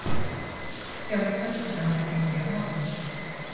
Sjálf gjaldtakan er ekki ný af nálinni.